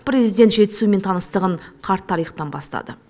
президент жетісумен таныстығын қарт тарихтан бастады